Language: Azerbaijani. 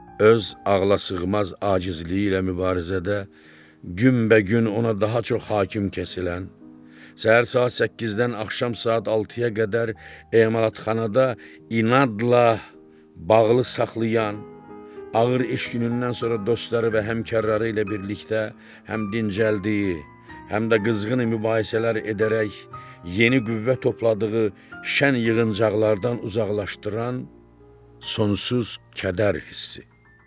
Öz ağlasığmaz acizliyi ilə mübarizədə gümbəgün ona daha çox hakim kəsilən, səhər saat 8-dən axşam saat 6-ya qədər emalatxanada inadla bağlı saxlayan, ağır iş günündən sonra dostları və həmkarları ilə birlikdə həm dincəldiyi, həm də qızğın mübahisələr edərək yeni qüvvə topladığı şən yığıncaqlardan uzaqlaşdıran sonsuz kədər hissi.